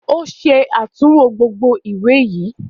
O ṣe atunwo gbógbó ìwé yí.